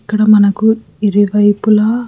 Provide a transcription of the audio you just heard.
ఇక్కడ మనకు ఇరువైపులా --